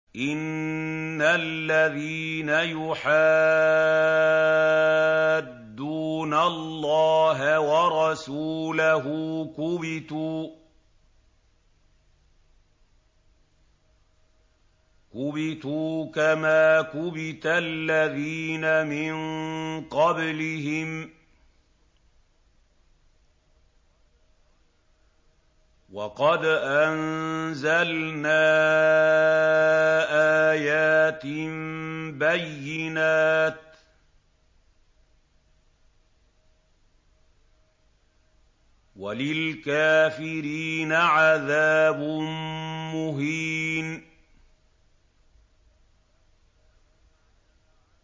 إِنَّ الَّذِينَ يُحَادُّونَ اللَّهَ وَرَسُولَهُ كُبِتُوا كَمَا كُبِتَ الَّذِينَ مِن قَبْلِهِمْ ۚ وَقَدْ أَنزَلْنَا آيَاتٍ بَيِّنَاتٍ ۚ وَلِلْكَافِرِينَ عَذَابٌ مُّهِينٌ